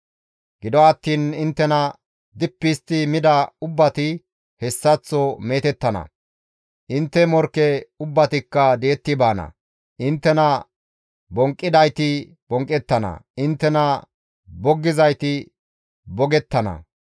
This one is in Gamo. «Gido attiin inttena dippi histti mida ubbati hessaththo meetettana; intte morkke ubbatikka di7etti baana; inttena bonqqidayti bonqqettana; inttena boggizayti bogettana.